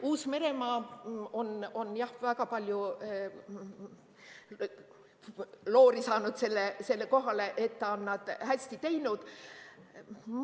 Uus-Meremaa on väga palju tähelepanu saanud sellega, et on hästi teinud.